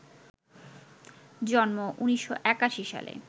জন্ম ১৯৮১ সালে